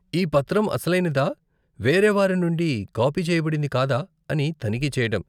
ఈ పత్రం అసలైనదా, వేరే వారి నుండి కాపీ చేయబడింది కాదా అని తనిఖీ చెయ్యటం.